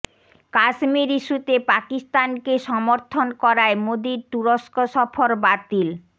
কাশ্মীর ইস্যুতে পাকিস্তানকে সমর্থন করায় মোদির তুরস্ক সফর বাতিল